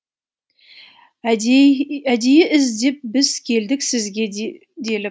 әдейі іздеп біз келдік сізге делік